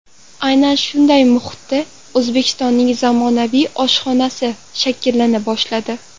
Aynan shunday muhitda O‘zbekistonning zamonaviy oshxonasi shakllana boshladi.